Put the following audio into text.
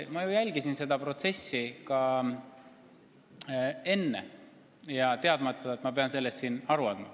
Ma ju jälgisin seda protsessi ka enne, teadmata, et ma pean siin sellest aru andma.